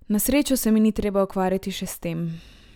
Na srečo se mi ni treba ukvarjati še s tem.